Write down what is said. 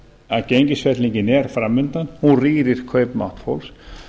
að gengisfellingin er framundan hún rýrir kaupmátt fólks